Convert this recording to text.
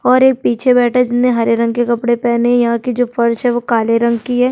और एक पीछे बैठा है जिसने हरे रंग के कपड़े पहेने है| यहाँ के जो फर्श है वो काले रंग की है।